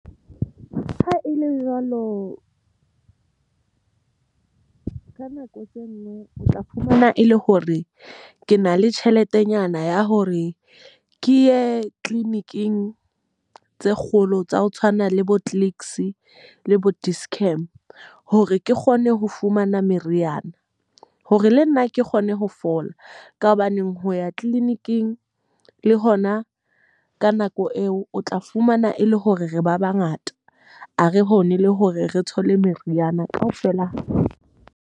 Ha e le jwalo ka nako tseno o tla fumana e le hore ke na le tjheletenyana ya hore ke ye clinic-ing tse kgolo tsa ho tshwana le bo Clicks le bo Dischem. Hore ke kgone ho fumana meriana. Hore le nna ke kgone ho fola. Ka hobaneng ho ya clinic-ing le hona ka nako eo, o tla fumana e le hore re ba ba ngata. Ha re hone le hore re thole meriana ka ofela.